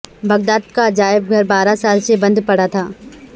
Baghdad کا عجائب گھر بارہ سال سے بند پڑا تھا